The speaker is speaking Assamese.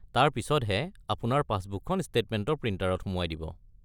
তাৰ পিছত হে আপোনাৰ পাছবুকখন ষ্টেটমেণ্ট প্ৰিণ্টাৰত সুমুৱাই দিব।